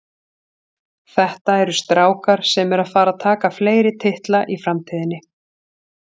Þetta eru strákar sem eru að fara að taka fleiri titla í framtíðinni.